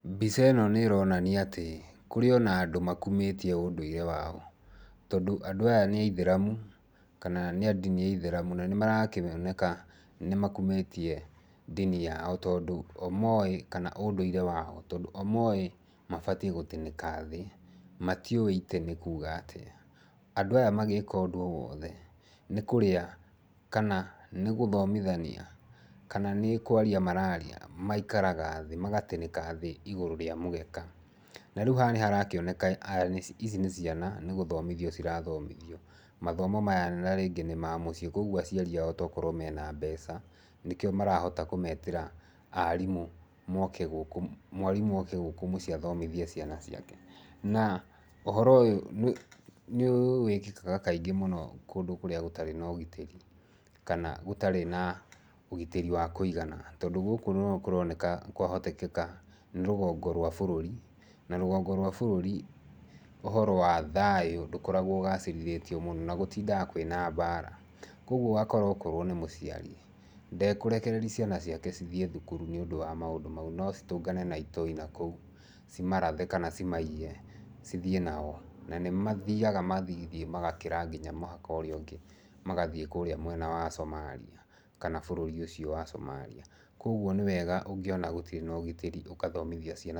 Mbica ĩno nĩ ĩronania atĩ kũrĩ ona andũ makumĩtie ũndũire wao. Tondũ andũ aya nĩ aithĩramu, kana nĩ a ndini ya itheramu na nĩmarakĩoneka nĩ makumĩtie ndini yao tondũ kana ũndũire wao. Tondũ o moĩ mabatiĩ gũtĩnĩka thĩ, matiuĩ itĩ nĩ kuuga atĩa. Andũ aya magĩka ũndu o wothe, nĩ kũrĩa, kana nĩ gũhtomithania, kana nĩ kwaria mararia, maikaraga thĩ, magatĩnĩka thĩ igũrũ rĩa mũgeka. Na rĩu haha nĩ harakĩoneka ici nĩ ciana nĩ gũhtomithio cirathomithio. Mathomo maya na rĩngĩ nĩ ma mũciĩ, koguo aciari ao mena mbeca, nĩkio marahota kũmeetĩra arĩmũ moke gũku, mwarimũ oke gũkũ mucii mathomithie ciana ciake. Na, ũhoro ũyũ nĩ wĩkikaga kaingĩ mũno kũndu kũrĩa gũtarĩ na ũgitĩrĩ kana gũtarĩ na ũgitĩri wa kũigana. Tondu gũku no kũroneka, kwahotekeka nĩ rũgongo rũa bũrũri. Na rũgongo rũa bũrũri ũhoro wa thayũ ndũkoragwo ũgacĩrithĩtio mũno na gũtindaga kwina mbara. Koguo ũgakora o korwo nĩ mũciari, ndekũrekereria ciana ciake cithie thukuru nĩ ũndũ wa maũndũ mau. No ciũngane na itoi na kũu, cimarathe kana ciamaiye cithiĩ nao. Na nĩ mathiaga magathiĩ nginya magakĩra nginya mũhaka ũrĩa ũngĩ, magathiĩ kũrĩa mwena wa Somalia kana bũrũri ũcio wa Somalia. Kũoguo nĩ wega ũngiona gũtirĩ na ũgitĩri ũgathomithia ciana.